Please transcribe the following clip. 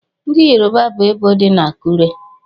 Ndị Yoruba bu ebò dị na Akure.